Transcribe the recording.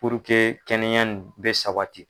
kɛnɛya nin bɛ sabati.